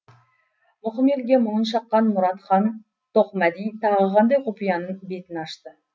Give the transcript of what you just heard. мұқым елге мұңын шаққан мұратхан тоқмәди тағы қандай құпияның бетін ашты